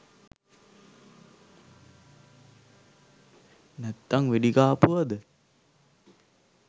නැත්තං වෙඩි කාපුවද?